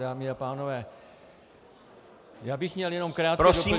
Dámy a pánové, já bych měl jenom krátké doplnění -